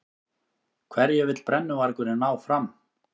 Hverju vill brennuvargurinn ná fram?